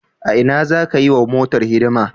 A Ina za ka yi wa motar hidima?